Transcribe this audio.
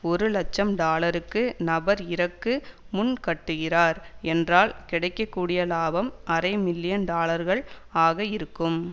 ஒரு இலட்சம் டாலருக்கு நபர் இறக்கு முன் கட்டுகிறார் என்றால் கிடைக்க கூடிய இலாபம் அரை மில்லியன் டாலர்கள் ஆக இருக்கும்